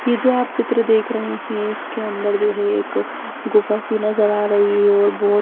ये जो आप चित्र देख रहे इसके अंदर जो है एक गुफा सी नजर आ रही है और बहोत --